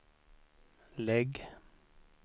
lägg